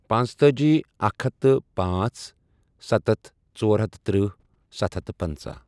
پانژھ تٲجۍ، اکھ ہتھ تہٕ پانٛژھ ،ستتھ ،ژور ہتھ ترٕٛہ، ستھ ہتھ پنژہ۔